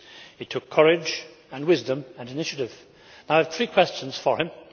It took courage and wisdom and initiative. I have three questions for him.